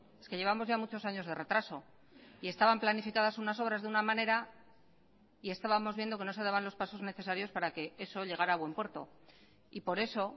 es que llevamos ya muchos años de retraso y estaban planificadas unas obras de una manera y estábamos viendo que no se daban los pasos necesarios para que eso llegara a buen puerto y por eso